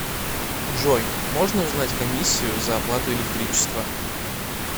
джой можно узнать комиссию за оплату электричества